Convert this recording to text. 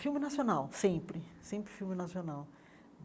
Filme nacional, sempre, sempre filme nacional.